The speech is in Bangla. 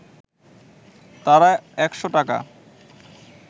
তারা একশ’ টাকা